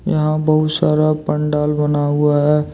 यहां बहुत सारा पंडाल बना हुआ है।